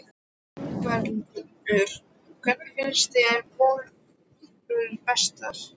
Ingveldur: Hvernig finnst þér bollurnar bestar?